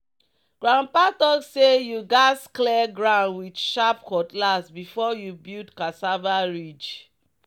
"grandpa talk say you gats clear ground with sharp cutlass before you build cassava ridge."